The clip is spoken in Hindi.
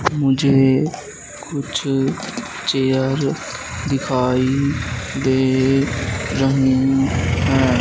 मुझे कुछ चेयर दिखाई दे रहे है।